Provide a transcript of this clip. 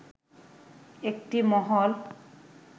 একটি মহল